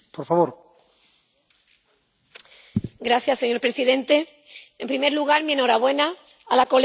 Señor presidente, en primer lugar, mi enhorabuena a la señora Borzan por este ambicioso y oportuno informe.